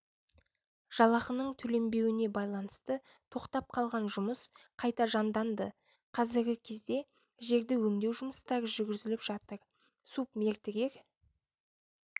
жалақының төленбеуіне байланысты тоқтап қалған жұмыс қайта жанданды қазіргі кезде жерді өңдеу жұмыстары жүргізіліп жатыр субмердігер